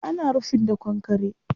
Ana rufin da kankkre